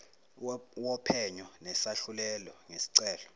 wophenyo nesahlulelo ngesicelo